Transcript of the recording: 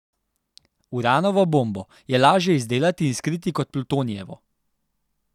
Uranovo bombo je lažje izdelati in skriti kot plutonijevo.